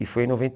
E foi em noventa